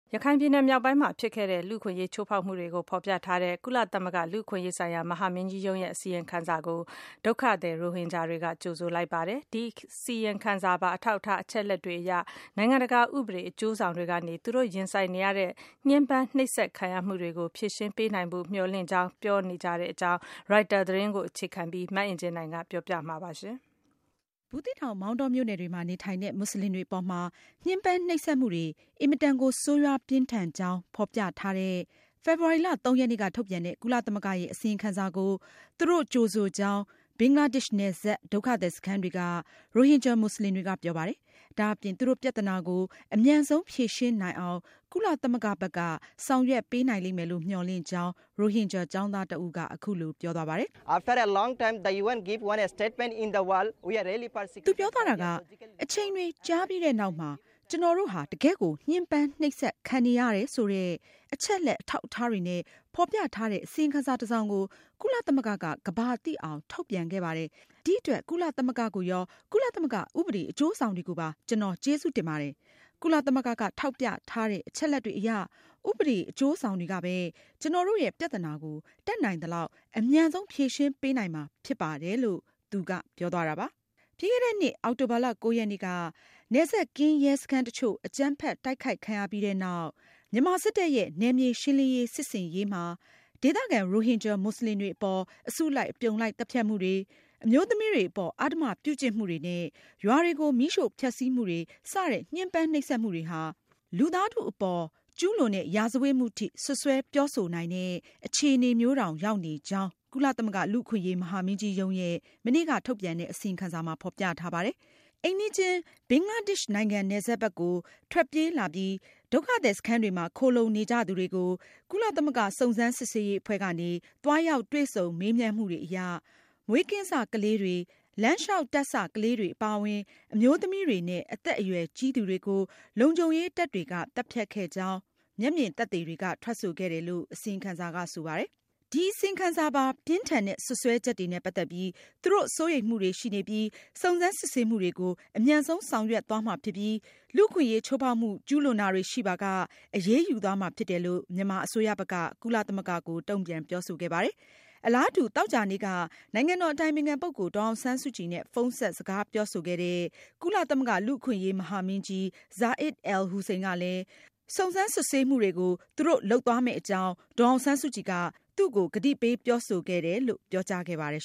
ရခိုင်ပြည်နယ်မြောက်ပိုင်းမှာ ဖြစ်ပေါ်ခဲ့တဲ့ လူ့အခွင့်အရေးချိုးဖောက်မှုတွေရှိနေတယ်ဆိုတဲ့ စွပ်စွဲချက်တွေကို ဖေါ်ပြထားတဲ့ ကုလသမဂ္ဂ လူ့အခွင့်အရေးဆိုင်ရာ မဟာမင်းကြီးရုံးရဲ့ အစီရင်ခံစာကိုရိုဟင်ဂျာဒုက္ခသည်တွေက ကြိုဆိုလိုက်ပါတယ်။ ဒီအစီရင်ခံစာပါ အထောက်အထားအချက်အလက်တွေအရ နိုင်ငံတကာဥပဒေအကျိုးဆောင်တွေကနေ သူတို့ရင်ဆိုင်နေရတဲ့ ညှမ်းပမ်းနှိပ်စက်ခံရမှုတွေကို ဖြေရှင်ပေးနိုင်လိမ့်မယ်လို့ မျှော်လင့်ကြောင်း ပြောဆိုပါတယ်။ ရိုက်တာသတင်းကို အခြေခံပြီး မအင်ကြင်းနိုင်က ဆက်ပြီး ပြောပြမှာပါ။ ဘူးသီးတောင်၊ မောင်တော မြို့နယ်တွေမှာနေထိုင်တဲ့ မွတ်စလင်တွေအပေါ် ညှမ်းပမ်းနှိပ်စက်မှုတွေဟာ အင်မတန်ကို ဆိုးရွားပြင်းထန်ကြောင်း ဖေါ်ပြထားတဲ့ ဖေဖေါ်ဝါရီလ (၃)ရက်နေ့က ထုတ်ပြန်တဲ့ ကုလသမဂ္ဂရဲ့ အစီရင်ခံစာကို ဘင်္ဂလားဒေ့ရှ်နယ်စပ် ရိုဟင်ဂျာ ဒုက္ခသည်စခန်းတွေမှာရှိနေတဲ့ ဒုက္ခသည်တွေက ကြိုဆိုလိုက်ပါတယ်။ ဒါအပြင် သူတို့ ပြဿနာကို အမြန်ဆုံးဖြေရှင်းနိုင်အောင် ကုလသမဂ္ဂဘက်က ဆောင်ရွက်ပေးနိုင်မယ်လို့ မျှော်လင့်ကြောင်း ဒုက္ခသည် ရိုဟင်ဂျာ ကျောင်းသားတဦးက အခုလိုပြောပါတယ်။ “အချိန်တွေကြာပြီးတဲ့နောက်မှာ ကျနော်တို့ဟာ တကယ့်ကို ညှင်းပမ်းနှိပ်စက်ခံနေရတယ်ဆိုတဲ့ အချက်အလက်အထောက်အထားတွေနဲ့ ဖေါ်ပြထားတဲ့ အစီရင်ခံစာတစောင်ကို ကုလသမဂ္ဂက ကမ္ဘာသိအောင်ထုတ်ပြန်ခဲ့ပါတယ်။ ဒီအတွက် ကုလသမဂ္ဂကိုရော၊ ကုလသမဂ္ဂ ဥပဒေအကျိုးဆောင်တွေကို ကျနော် ကျေးဇူးတင်ပါတယ်။ ကုလသမဂ္ဂက ထောက်ပြထားတဲ့ အချက်အလက်တွေအရ ဥပဒေအကျိုးဆောင်တွေကပဲ ကျနော်တို့ရဲ့ ပြဿနာကို တတ်နိုင်သလောက် အမြန်ဆုံး ဖြေရှင်းပေးနိုင်မှာဖြစ်ပါတယ်။” ပြီးခဲ့တဲ့နှစ် အောက်တိုဘာလ (၉)ရက်နေ့က နယ်စပ်ကင်းရဲစခန်းတချို့ အကြမ်းဖက်တိုက်ခိုက်ခံရပြီးနောက် မြန်မာစစ်တပ်ရဲ့ နယ်မြေရှင်းလင်းရေး စစ်ဆင်ရေးမှာ ဒေသခံ ရိုဟင်ဂျာ မွတ်စလင်တွေအပေါ် အစုလိုက်အပြုံလိုက် သတ်ဖြတ်မှုတွေ၊ အမျိုးသမီးတွေအပေါ် အဓမ္မပြုကျင့်မှုတွေနဲ့ ရွာတွေကို မီးရှို့ဖျက်စီးမှုတွေ စတဲ့ ညှမ်းပမ်းနှိပ်စက်မှုတွေဟာ လူသားထုအပေါ် ကျူးလွန်တဲ့ ရာဇဝတ်မှုထိ စွပ်စွဲပြောဆိုနိုင်တဲ့ အခြေအနေမျိုးတောင် ရောက်နေကြောင်း ကုလသမဂ္ဂ လူ့အခွင့်အရေး မဟာမင်းကြီးရုံးရဲ့ မနေ့က ထုတ်ပြန်တဲ့ အစီရင်ခံစာမှာ ဖေါ်ပြထားပါတယ်။ အိမ်နီးချင်း ဘင်္ဂလားဒေ့ရှ်နိုင်ငံ နယ်စပ်ကို ထွက်ပြေးလာပြီး ဒုက္ခသည်စခန်းတွေမှာ ခိုလှုံနေကြသူ တွေကို ကုလသမဂ္ဂစုံစမ်းစစ်ဆေးရေးအဖွဲ့ကနေ သွားရောက်တွေ့ဆုံ မေးမြန်းမှုတွေအရ မွေးကင်းစကလေးတွေ၊ လမ်းလျှောက်တက်စကလေးတွေအပါအဝင် အမျိုးသမီးတွေနဲ့ အသက်အရွယ်ကြီးသူတွေကို လုံခြုံရေးတပ်တွေက သတ်ဖြတ်ခဲ့ကြောင်း မျက်မြင်သက်သေတွေက ထွက်ဆိုခဲ့တယ်လို့ အစီရင်ခံစာက ဆိုပါတယ်။ ဒီအစီရင်ခံစာပါ ပြင်းထန်တဲ့ စွပ်စွဲချက်တွေနဲ့ပတ်သက်ပြီး သူတို့ စိုးရိမ်မှုတွေရှိနေပြီး စုံစမ်းစစ်ဆေးမှုတွေကို အမြန်ဆုံးဆောင်ရွက်မှာဖြစ်ပြီး၊ လူ့အခွင့်ရေးချိုးဖေါက်မှု ကျူးလွန်တာတွေရှိပါက အရေးယူသွားမှာဖြစ်တယ်လို့ မြန်မာအစိုးရဘက်က ကုလသမဂ္ဂကို တုန့်ပြန်ပြောဆိုခဲ့ပါတယ်။ အလားတူ သောကြာနေ့က နိုင်ငံတော်အတိုင်ပင်ခံပုဂ္ဂိုလ် ဒေါ်အောင်ဆန်းစုကြည်နဲ့ ဖုန်းဆက်စကားပြောဆိုခဲ့တဲ့ ကုလသမဂ္ဂ လူ့အခွင့်အရေး မဟာမင်းကြီး Zeid al- Hussein ကလည်း စုံစမ်းစစ်ဆေးမှုတွေကို ဆောင်ရွက်မှာဖြစ်တယ်လို့ ဒေါ်အောင်ဆန်းစုကြည်က သူ့ကို ကတိပေးပြောဆိုခဲ့ကြောင်း ပြောကြားခဲ့ပါတယ်